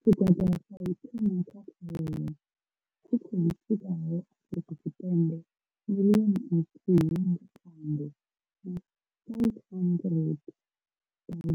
Tshigwada tsha u thoma tsha khaelo tshi khou swikaho Afrika Tshipembe miḽioni nthihi nga Phando na 500 000